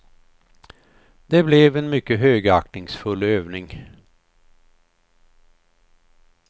Det blev en mycket högaktningsfull övning.